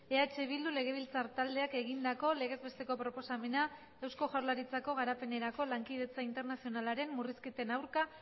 eh bildu legebiltzar taldeak egindako legez besteko proposamena eusko jaurlaritzako garapenerako lankidetza internazionalaren murrizketen aurka